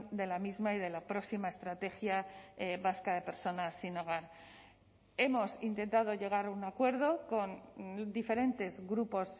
de la misma y de la próxima estrategia vasca de personas sin hogar hemos intentado llegar a un acuerdo con diferentes grupos